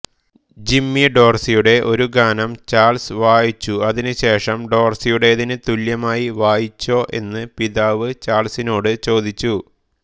Jimmy ഡോർസിയുടെ ഒരു ഗാനം ചാൾസ് വായച്ചു അതിനുശേഷം ഡോർസിയുടേതിന് തുല്യമായി വായിച്ചോ എന്ന് പിതാവ് ചാൾസിനോട് ചോദിച്ചു